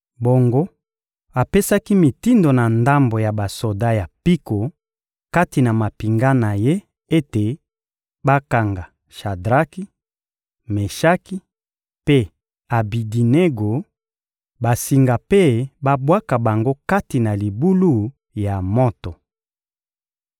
Bongo apesaki mitindo na ndambo ya basoda ya mpiko kati na mampinga na ye ete bakanga Shadraki, Meshaki mpe Abedinego basinga mpe babwaka bango kati na libulu ya moto.